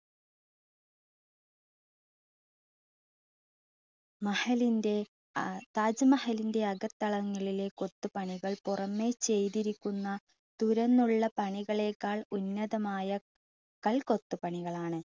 താജ്മഹലിൻ്റെ അകത്തളങ്ങളിലെ കൊത്തുപണികൾ പുറമെ ചെയ്തിരിക്കുന്ന തുറന്നുള്ള പണികളേക്കാൾ ഉന്നതമായ കൽകൊത്തുപണികൾ ആണ്.